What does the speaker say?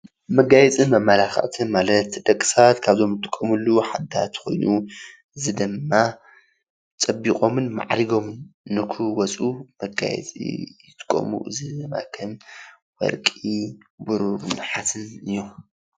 መጋየፅን መመላከዕትን ማለት ደቂ ሰባት ካብዞም ዝጥቀሙሉ ኮይኑ እዚ ድማ ፀቢቆም ማዕሪጎምን ንክወፁ መጋየፂ ይጥቀሙ፤ እዚ ወርቂ፣ ብሩር ነሃስን እዮም።